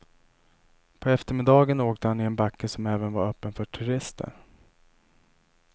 På eftermiddagen åkte han i en backe som även var öppen för turister.